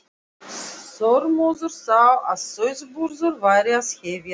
Þormóður þá að sauðburður væri að hefjast.